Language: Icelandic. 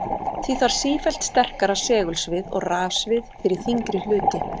Því þarf sífellt sterkara segulsvið og rafsvið fyrir þyngri hluti.